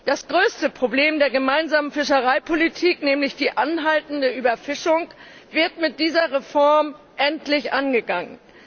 Das größte Problem der Gemeinsamen Fischereipolitik, nämlich die anhaltende Überfischung, wird mit dieser Reform endlich angegangen.